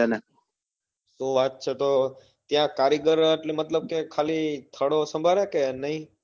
ત્યાં કારીગર એટલે મતલબ કે ત્યાં ખાલી થડો સંભાળે કે નાઈ